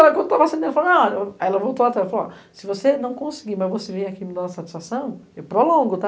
Ela voltou e falou, se você não conseguir, mas você vem aqui me dar uma satisfação, eu prolongo, tá?